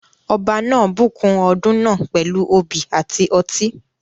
Ọba náà bùkún ọdún náà pẹ̀lú obì àti ọtí.